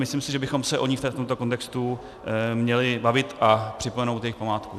Myslím si, že bychom se o ní v tomto kontextu měli bavit a připomenout jejich památku.